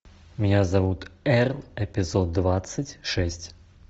меня зовут эрл эпизод двадцать шесть